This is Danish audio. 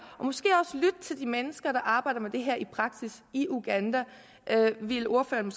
og til de mennesker der arbejder med det her i praksis i uganda ville ordføreren